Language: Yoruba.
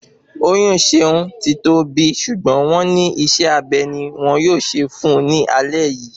Oyún Ṣeun ti tọ́ bi ṣùgbọ́n wọ́n ní isé abe ni wọ́n yóò ṣe fún un ní alé yìí